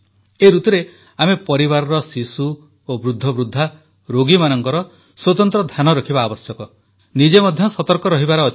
ଏହି ଋତୁରେ ଆମେ ପରିବାରର ଶିଶୁ ଓ ବୃଦ୍ଧବୃଦ୍ଧା ରୋଗୀମାନଙ୍କର ସ୍ୱତନ୍ତ୍ର ଧ୍ୟାନ ରଖିବା ଆବଶ୍ୟକ ନିଜେ ମଧ୍ୟ ସତର୍କ ରହିବାର ଅଛି